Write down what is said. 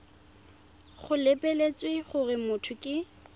go lebeletswe gore motho ke